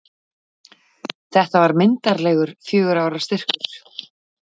Þetta var myndarlegur fjögurra ára styrkur.